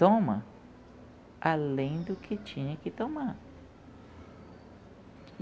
Toma além do que tinha que tomar.